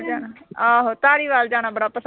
ਆਹੋ ਧਾਰੀਵਾਲ ਜਾਣਾ ਬੜਾ ਪਸੰਦ ਐ ਮੈਨੂੰ।